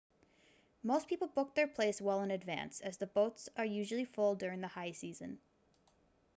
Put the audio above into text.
most people book their place well in advance as the boats are usually full during the high season